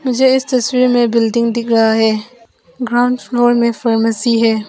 मुझे इस तस्वीर में बिल्डिंग दिख रहा है ग्राउंडफ्लोर में फर्मेसी है।